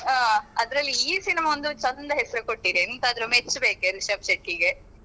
ಹ ಅದ್ರಲ್ಲಿ ಈ cinema ಒಂದು ಚಂದ ಹೆಸರು ಕೊಟ್ಟಿದೆ ಎಂತಾದ್ರು ಮೆಚ್ಬೇಕು ರಿಶಬ್ ಶೆಟ್ಟಿಗೆ.